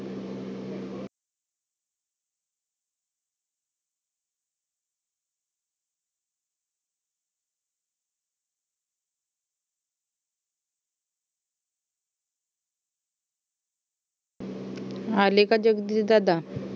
आले का जगदीश दादा